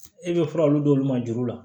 E bɛ fura dɔw d'olu ma juru la